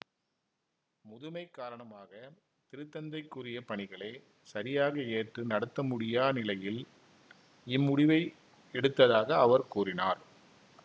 முதுமை காரணமாக திருத்தந்தைக்குரிய பணிகளை சரியாக ஏற்று நடத்தமுடியா நிலையில் இம்முடிவை எடுத்ததாக அவர் கூறினார்